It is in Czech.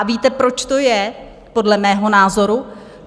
A víte, proč to je podle mého názoru?